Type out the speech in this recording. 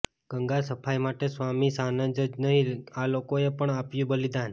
ગંગા સફાઈ માટે સ્વામી સાનંદ જ નહીં આ લોકોએ પણ આપ્યું બલિદાન